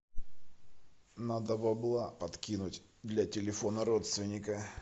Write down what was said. надо бабла подкинуть для телефона родственника